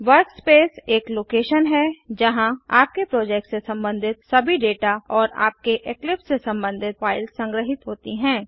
workspace एक लोकेशनस्थान है जहां आपके प्रोजेक्ट से संबंधित सभी डेटा और आपके इक्लिप्स से संबंधित फाइल्स संग्रहित होती हैं